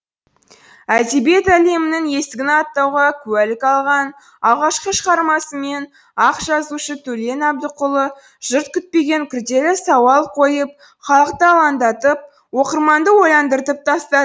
әдебиет әлемінің есігін аттауға куәлік алған алғашқы шығармасымен ақ жазушы төлен әбдікұлы жұрт күтпеген күрделі сауал қойып халықты алаңдатып оқырманды ойландырып тастады